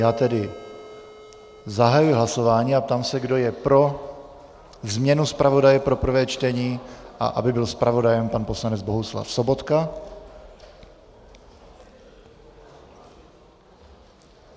Já tedy zahajuji hlasování a ptám se, kdo je pro změnu zpravodaje pro prvé čtení a aby byl zpravodajem pan poslanec Bohuslav Sobotka.